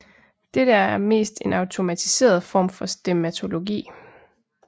Dette er mest en automatiseret form for stemmatologi